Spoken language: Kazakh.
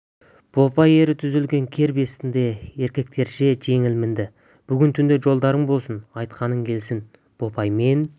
бопай ері түзелген кер бестісіне еркектерше жеңіл мінді бүгін түнде жолдарың болсын айтқаның келсін бопай мен